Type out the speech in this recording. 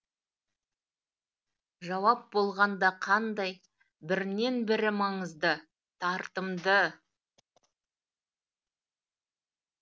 жауап болғанда қандай бірінен бірі маңызды тартымды